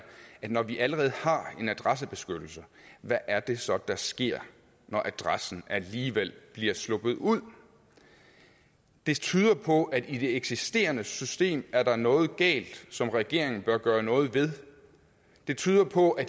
at når vi allerede har en adressebeskyttelse hvad er det så der sker når adressen alligevel slipper ud det tyder på at i det eksisterende system er noget galt som regeringen bør gøre noget ved det tyder på at